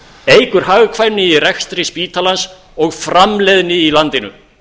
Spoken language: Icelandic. eykur hagkvæmni í rekstri spítalans og framleiðni í landinu